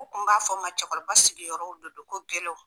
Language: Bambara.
Ko n b'a fɔ o ma cɛkɔrɔba sigiyɔrɔw de don gɛlɛw